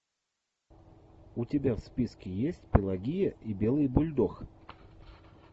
у тебя в списке есть пелагия и белый бульдог